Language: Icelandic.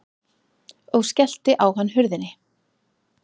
Og skellti á hann hurðinni.